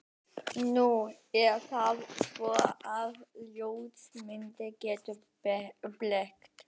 Nú er það svo, að ljósmyndir geta blekkt.